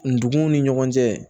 Ndugun ni ɲɔgɔn cɛ